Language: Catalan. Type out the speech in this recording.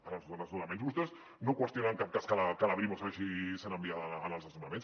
en els desnonaments vostès no qüestionen en cap cas que la brimo segueixi sent enviada als desnonaments